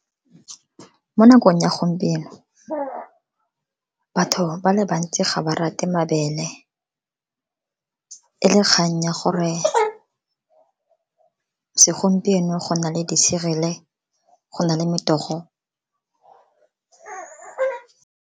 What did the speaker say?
Mo nakong ya gompieno, batho ba le bantsi ga ba rate mabele e le kgang ya gore segompieno go na le di-cereal-e go na le metogo.